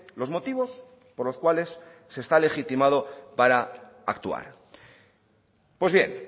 los motivos por los cuales se está legitimado para actuar pues bien